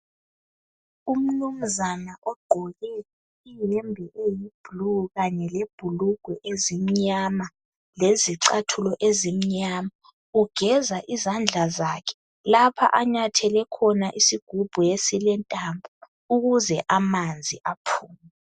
Umnumzana ogqoke iyenbe eyiblue kanye lebhulugwe ezimnyama lezicathulo ezimnyama ugeza izandla zakhe lapho anyathele khona isigumbu esilentambo ukuze amanzi aphume.